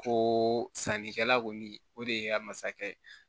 Ko sannikɛla kɔni o de ye n ka masakɛ ye